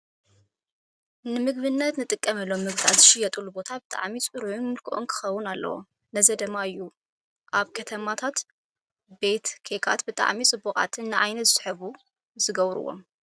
ንምግብነት እንጥቀመሎም ምግብታት ዝሽየጥሉ ቦታ ብጣዕሚ ፅሩይን ምልኩዑን ክኸውን ኣለዎ። ነዚ ድማ እዩ እውን ኣብ ከተማታት ቤት ኬካት ብጣዕሚ ውቁባትን ንዓይኒ ዝስሕቡ ዝገብሩዎም።